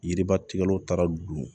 Yiribatigɛlaw taara don